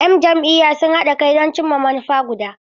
Yan jam'iyyar siyasa suna haɗa kai don cimma manufa guda.